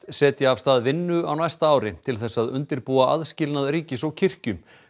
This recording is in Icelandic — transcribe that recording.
setja af stað vinnu á næsta ári til þess að undirbúa aðskilnað ríkis og kirkju